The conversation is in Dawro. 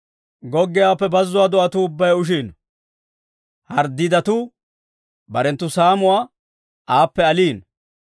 Goggiyaawaappe bazzuwaa do'atuu ubbay ushiino; denbbaa haretuu barenttu saamuwaa aappe aliino.